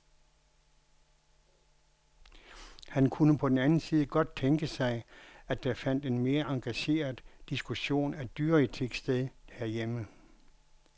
Han kunne på den anden side godt tænke sig, at der fandt en mere engageret diskussion af dyreetik sted herhjemme.